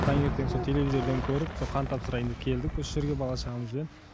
таңертең со телевизорден көріп со қан тапсырайын деп келдік осы жерге бала шағамызбен